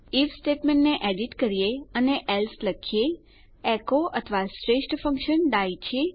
if સ્ટેટમેંટને edit કરીએ અને એલ્સે લખીએ એકો અથવા બેસ્ટ શ્રેષ્ઠ ફંક્શન ડાઇ છે